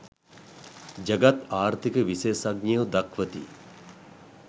ජගත් ආර්ථික විශේෂඥයෝ දක්වති